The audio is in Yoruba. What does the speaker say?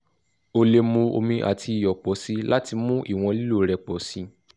o le mu omi ati iyọ pọ si lati mu iwọn lilo rẹ pọ si